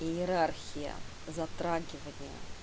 иерархия затрагивания